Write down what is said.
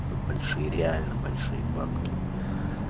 тут большие реально большие бабки